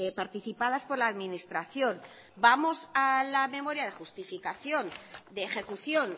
participadas por la administración vamos a la memoria de justificación de ejecución